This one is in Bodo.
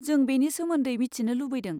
जों बेनि सोमोन्दै मिथिनो लुबैदों।